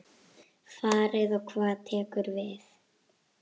Farið og hvað tekur við?